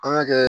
An ka kɛ